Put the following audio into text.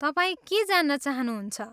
तपाईँ के जान्न चहानुहुन्छ?